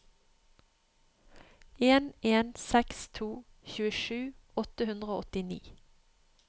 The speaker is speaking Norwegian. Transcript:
en en seks to tjuesju åtte hundre og åttini